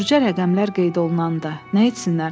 Qurca rəqəmlər qeyd olunanda nə etsinlər?